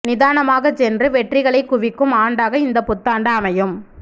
நிதானமாகச் சென்று வெற்றிகளைக் குவிக்கும் ஆண்டாக இந்தப் புத்தாண்டு அமையும்